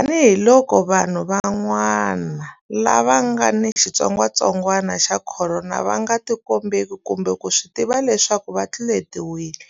Tanihiloko vanhu van'wana lava nga ni xitsongwantsongwana xa Khorona va nga tikombeki kumbe ku swi tiva leswaku va tluletiwile,